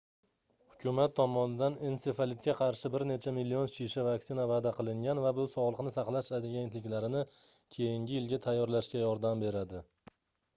hukumat tomonidan ensefalitga qarshi bir necha million shisha vaksina vaʼda qilingan va bu sogʻliqni saqlash agentliklarini keyingi yilga tayyorlashga yordam beradi